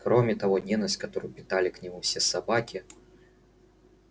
кроме того ненависть которую питали к нему все собаки